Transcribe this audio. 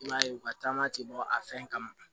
I b'a ye u ka taama ti bɔ a fɛn kama